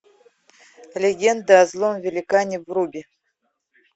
легенда о злом великане брубе